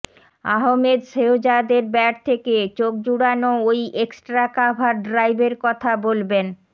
আহমেদ শেহজাদের ব্যাট থেকে চোখজুড়ানো ওই এক্সট্রা কাভার ড্রাইভের কথা বলবেন